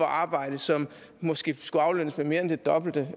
arbejde som måske skulle aflønnes med mere end det dobbelte